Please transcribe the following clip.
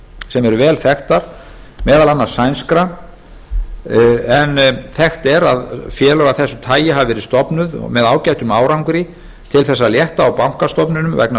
sem eru vel þekktar meðal annars sænskra en þekkt er að félög af þessu tagi hafi verið stofnuð með ágætum árangri til þess að létta á bankastofnunum vegna